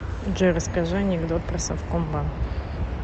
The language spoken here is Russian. джой расскажи анекдот про совкомбанк